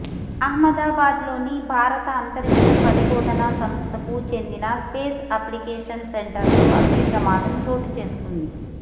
అహ్మదాబాద్లోని భారత అంతరిక్ష పరిశోధన సంస్థకు చెందిన స్పేస్ అప్లికేషన్ సెంటర్లో అగ్నిప్రమాదం చోటు చేసుకుంది